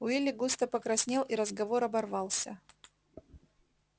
уилли густо покраснел и разговор оборвался